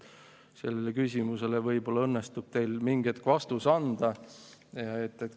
Sellele küsimusele võib-olla õnnestub teil mingil hetkel vastus anda.